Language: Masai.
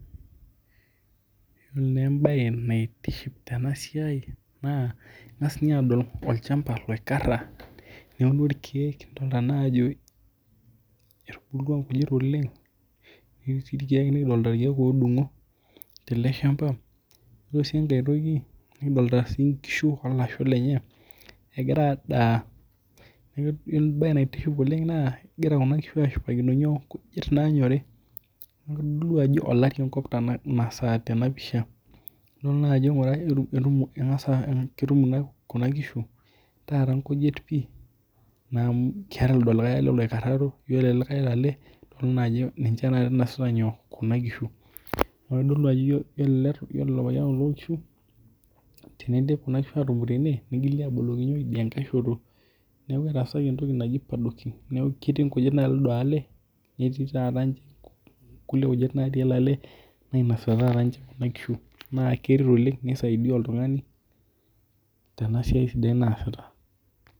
Yiolo naa embae naitiship ena siai naa king'as ninye aadol olchamba loikarra neuno irkiek. Kidolita naa ajo etubulutwa inkujit oleng netii sii irkiek, nekidolita irkiek oodung'o tele shamba. Ore sii enkae toki, nekidolita inkishu o lasho lenye egira adaa. Yiolo embae naitiship oleng naa egira kuna kishu aashipakino nyoo, nkujit naanyori. Neeku kitodolu ajo olari enkop inasaa tena pisha. Nidol naa ajo ketum kuna kishu taata nkujit pii naa amu keetae lido likae ale loikarraro, yiolo ele likae lale nidol naa ajo ninye inosita nyoo, kuna kishu. Itodolu ajo yiolo olopeny kuna kishu tenidip kuna kishu ene nigili aaboloki nyoo, lido likae ale. Neeku etaasaki entoki naji paddocking. Neeku ketii nkujit batii lido ale, netii taata ninche nkulie kujit natii ele ale nainosita ninche kuna kishu. Naa keret oleng nisaidia oltung'ani tena siai sidai naasita